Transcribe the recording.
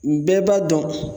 Bɛɛ b'a dɔn